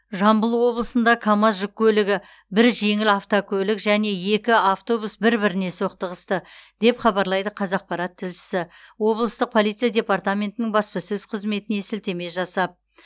жамбыл облысында камаз жүк көлігі бір жеңіл автокөлік және екі автобус бір біріне соқтығысты деп хабарлайды қазақпарат тілшісі облыстық полиция департаментінің баспасөз қызметіне сілтеме жасап